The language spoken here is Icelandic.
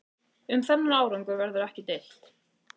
Um þennan árangur verður ekki deilt